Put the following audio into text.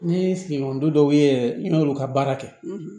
Ni sigiɲɔgɔndɔ dɔw ye n y'olu ka baara kɛ